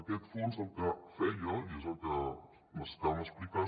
aquest fons el que feia i és el que necessitàvem explicar